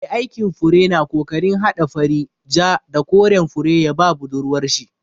Mai aikin fure na kokarin hada fari, ja, da koren fure ya ba budurwar shi.